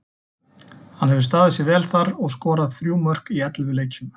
Hann hefur staðið sig vel þar og skorað þrjú mörk í ellefu leikjum.